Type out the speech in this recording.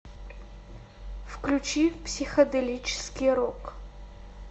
включи психоделический рок